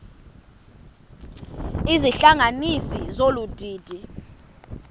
izihlanganisi zolu didi